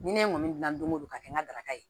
Ni ne kɔni gilan don go don ka kɛ n garata ye